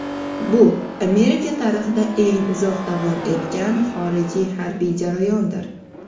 Bu Amerika tarixida eng uzoq davom etgan xorijiy harbiy jarayondir.